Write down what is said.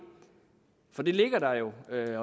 at det